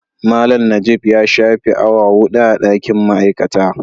Malam najib ya shafe awa 4 a dakin ma'aikata.